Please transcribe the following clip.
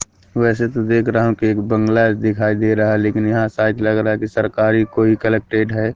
वैसे तो देख रहा हु की एक बंगला दिखाई दे रहा है लेकिन यहां शायद लगा रहा है कि सरकारी कोई कलेक्टेड है।